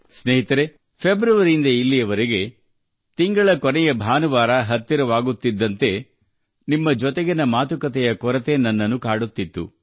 ಸ್ನೇಹಿತರೆ ಫೆಬ್ರವರಿಯಿಂದ ಇಲ್ಲಿಯ ತನಕ ತಿಂಗಳ ಕೊನೆಯ ಭಾನುವಾರ ಬಂದಾಗ ನಾನು ನಿಮ್ಮೊಂದಿಗೆ ಈ ಸಂಭಾಷಣೆಯನ್ನು ತುಂಬಾ ಮಿಸ್ ಮಾಡಿಕೊಳ್ಳುತ್ತಿದ್ದೆ